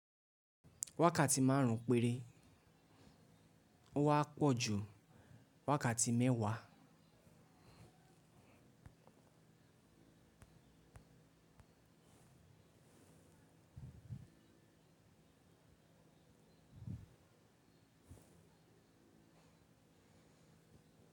Wákàtí màrùn péré ò wa pò ju wákàtí méwàá.